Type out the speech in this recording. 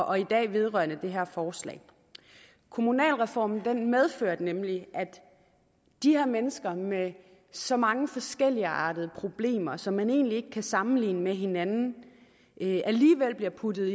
og i dag vedrørende det her forslag kommunalreformen medførte nemlig at de her mennesker med så mange forskelligartede problemer som man egentlig ikke kan sammenligne med hinanden alligevel blev puttet